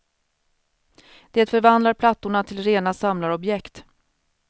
Det förvandlar plattorna till rena samlarobjekt.